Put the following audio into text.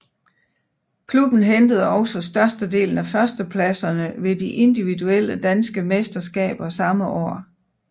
Klubben hentede også størstedelen af førstepladserne ved de individuelle danske mesterskaber samme år